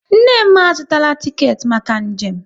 Nne m a zụtara tiket maka njem